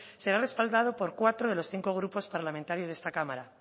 será respaldado por cuatro de los cinco grupos parlamentarios de esta cámara